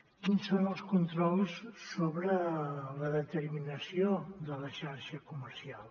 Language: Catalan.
quins són els controls sobre la determinació de la xarxa comercial